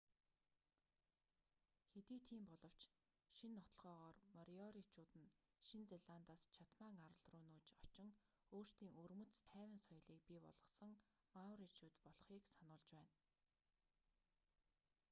хэдий тийм боловч шинэ нотолгоогоор мориоричууд нь шинэ зеландаас чатман арал руу нүүж очин өөрсдийн өвөрмөц тайван соёлийг бий болгосон мауричууд болохыг сануулж байна